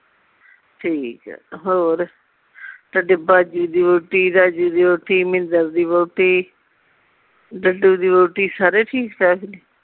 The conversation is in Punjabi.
ਠੀਕ ਆ ਹੋਰ ਤਹਾਡੇ ਭਾਜੀ ਦੀ ਵਹੁਟੀ ਰਾਜੇ ਦੀ ਵਹੁਟੀ ਮਿੰਦਰ ਦੀ ਵਹੁਟੀ ਦੀ ਵਹੁਟੀ ਸਾਰੇ ਠੀਕ